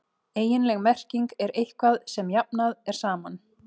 eiginleg merking er „eitthvað sem jafnað er saman“